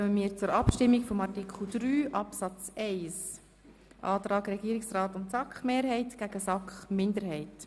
Somit kommen wir zur Abstimmung über Artikel 3 Absatz 1: Regierungsrat und SAK-Mehrheit gegen SAK-Minderheit.